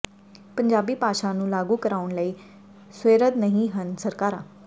ਪੰਜਾਬੀ ਭਾਸ਼ਾ ਨੂੰ ਲਾਗੂ ਕਰਾਉਣ ਲਈ ਸੁਹਿਰਦ ਨਹੀਂ ਹਨ ਸਰਕਾਰਾਂ